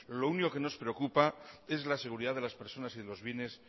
lo único que nos preocupa es la seguridad de las personas y de lo bienes